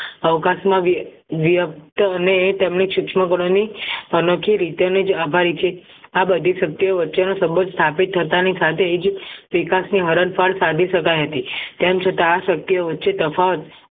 અવકાશ માં અને તેમની સુક્ષ્મ ભરેલી અનોખી રીતે જ આભારી છે આ બધી શક્ય વચ્ચેનો સંબંધ સ્થાપિત થતા ની સાથે જ વિકાસની હરણફાળ સાબી શકાય હતી તેમ છતાં આ શક્ય વચે તફાવત